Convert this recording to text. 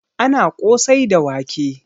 Ana ƙosai da wake